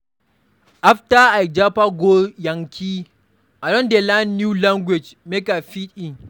After I japa go yankee, I don dey learn new language make I fit in.